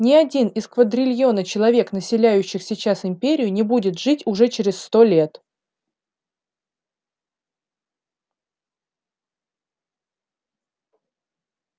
ни один из квадрильона человек населяющих сейчас империю не будет жить уже через сто лет